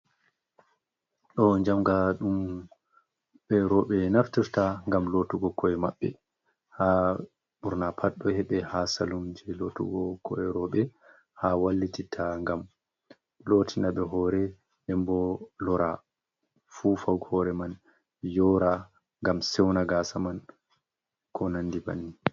Ɗo jamga ɗum ɓe roɓɓe naftirta gam lottugo ko’e maɓɓe ha burna pat ɗo heɓe ha salum je lotugo ko’e roɓɓe ha wallititta gam lotina ɓe hore dembo lora fufa hore man yora gam sewna gasa man ko nandi bannin.